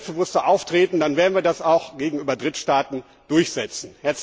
Wir müssen selbstbewusster auftreten, dann werden wir das auch gegenüber Drittstaaten durchsetzen.